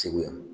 Segu yan